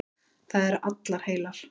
Það eru allar heilar.